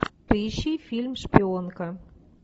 поищи фильм шпионка